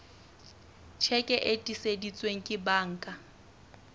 tjheke e tiiseditsweng ke banka